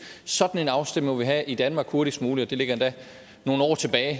sådan en afstemning må vi have i danmark hurtigst muligt og det ligger endda nogle år tilbage